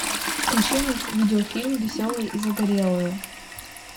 включи мне видеофильм веселые и загорелые